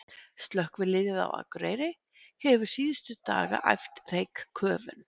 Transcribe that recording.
Slökkviliðið á Akureyri hefur síðustu daga æft reykköfun.